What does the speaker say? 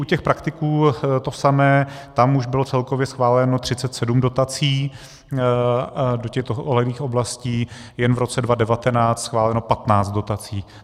U těch praktiků to samé, tam už bylo celkově schváleno 37 dotací do těchto odlehlých oblastí, jen v roce 2019 schváleno 15 dotací.